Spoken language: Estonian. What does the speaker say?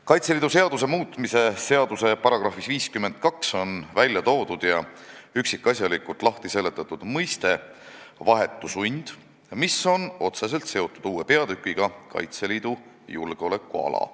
Kaitseliidu seaduse muutmise seaduse §-s 52 on välja toodud ja üksikasjalikult lahti seletatud mõiste "vahetu sund", mis on otseselt seotud uue peatükiga "Kaitseliidu julgeolekuala".